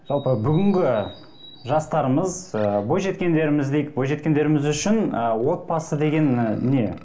жалпы бүгінгі жастарымыз ыыы бойжеткендеріміз дейік бойжеткендеріміз үшін ы отбасы деген і не